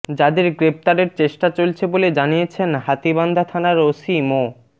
যাদের গ্রেফতারের চেষ্টা চলছে বলে জানিয়েছেন হাতীবান্ধা থানার ওসি মো